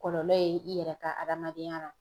Kɔlɔlɔ ye i yɛrɛ ka adamadenya ra